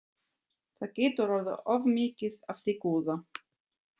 Það getur orðið of mikið af því góða.